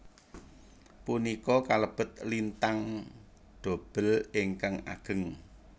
Punika kalebet lintang dobel ingkang ageng